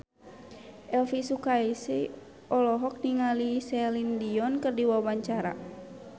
Elvy Sukaesih olohok ningali Celine Dion keur diwawancara